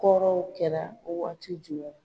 Kɔrɔw kɛra Wagati